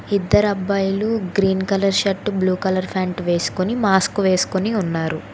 ఇద్దరబ్బాయిలు green colour shirt blue colour pant వేసుకొని mask వేసుకొని ఉన్నారు.